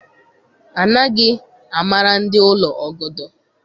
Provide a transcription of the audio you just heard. Anaghị amara ndị ụlọ ọgọdọ.